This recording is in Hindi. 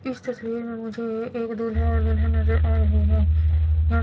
इस तस्वीर में मुझे एक दूल्हा और दुल्हन नजर आ रहे है यहां--